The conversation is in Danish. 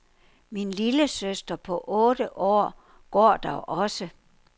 Min lillesøster på otte år går der også.